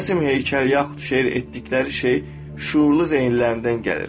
Rəsm, heykəl, yaxud şeir etdikləri şey şüurlu zeyinlərindən gəlir.